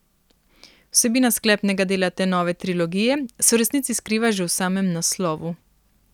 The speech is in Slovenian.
Vsebina sklepnega dela te nove trilogije se v resnici skriva že v samem naslovu.